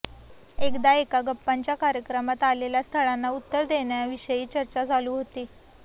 एकदा एका गप्पांच्या कार्यक्रमात आलेल्या स्थळांना उत्तर देण्याविषयी चर्चा चालू होती